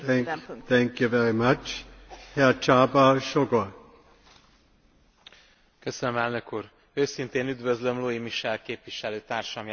Őszintén üdvözlöm Luis Michel képviselőtársam jelentését, amely végre kimondja azt, amit eddigi európai parlamenti munkám alatt végig szorgalmaztam.